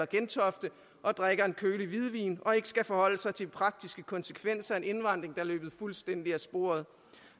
gentofte og drikker en kølig hvidvin og ikke skal forholde sig til praktiske konsekvenser af en indvandring er løbet fuldstændig af sporet